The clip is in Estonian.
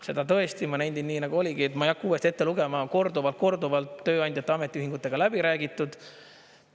Seda tõesti ma nendin, nii oligi, ma ei hakka uuesti ette lugema, korduvalt-korduvalt tööandjate ja ametiühingutega läbi räägitud.